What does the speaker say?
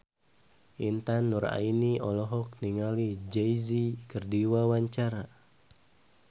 Intan Nuraini olohok ningali Jay Z keur diwawancara